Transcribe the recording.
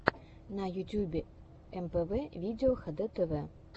в ютюбе мпв видео хдтв